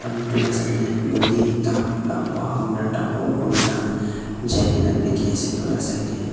road tola side te nodi ek ta lamba dangor korina jaikina dekhi ase etulaga side teh.